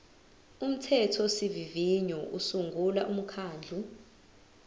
umthethosivivinyo usungula umkhandlu